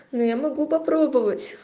ну я могу попробовать